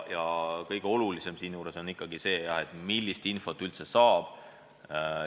Ja kõige olulisem on ikkagi see, millist infot üldse saab.